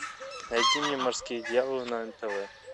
найди мне морские дьяволы на нтв